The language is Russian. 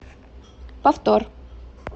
повтор